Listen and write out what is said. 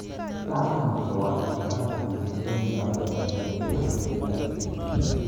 Lasima ko wachibikan biik che mi kandoinatet eng DRC